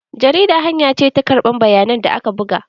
Jarida hanya ce ta karɓar bayanan da aka buga.